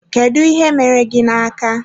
Kedụ ihe mere gị na-aka?